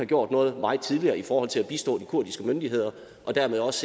gjort noget meget tidligere i forhold til at bistå de kurdiske myndigheder og dermed også